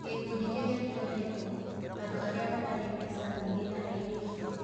Gĩkundi kĩrĩa kĩroretwo: Andũ arĩa matarĩ mbeca nyingĩ na airĩtu